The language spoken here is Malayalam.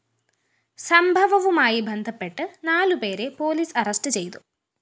സംഭവവുമായി ബന്ധപ്പെട്ട് നാലുപേരെ പോലീസ് അറസ്റ്റ്‌ ചെയ്തു